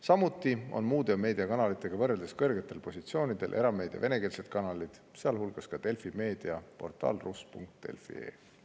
Samuti on muude meediakanalitega võrreldes kõrgetel positsioonidel venekeelsed erameediakanalid, sealhulgas Delfi Meedia portaal rus.delfi.ee.